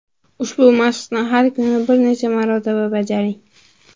Ushbu mashqni har kuni, bir necha marotaba bajaring.